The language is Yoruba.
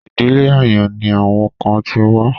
Ìdílé àyàn ni àwọn kan ti wá.